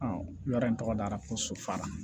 yɔrɔ in tɔgɔ dara ko so fa